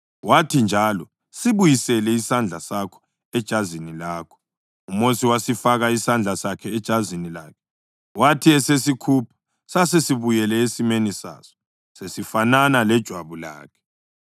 Wathi njalo, “Sibuyisele isandla sakho ejazini lakho.” UMosi wasifaka isandla sakhe ejazini lakhe, wathi esesikhupha sasesibuyele esimeni saso, sesifanana lejwabu lakhe.